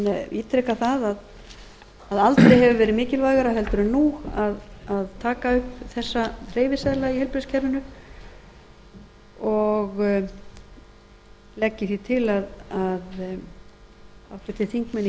ítreka það að aldrei hefur verið mikilvægara heldur en nú að taka upp þessa hreyfiseðla í heilbrigðiskerfinu og legg ég því til að háttvirtir þingmenn í